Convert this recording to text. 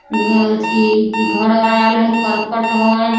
इ अथी घर बनायल हई करकट हई।